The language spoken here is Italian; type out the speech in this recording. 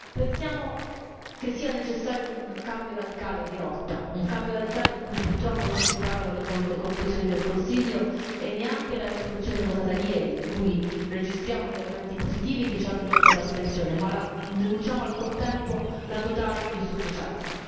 Pensiamo che sia necessario un cambio radicale di rotta, un cambio radicale di cui purtroppo non ci parlano le conclusioni del Consiglio e neanche la risoluzione votata ieri, di cui registriamo gli elementi positivi che ci hanno portato all'astensione, ma ne denunciamo al contempo la totale insufficienza.